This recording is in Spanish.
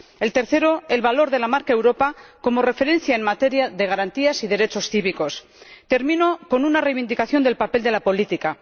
el tercero, el valor de la marca Europa como referencia en materia de garantías y derechos cívicos. Termino con una reivindicación del papel de la política.